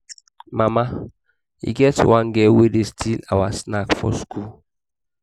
mama e get one girl wey dey steal our snacks for school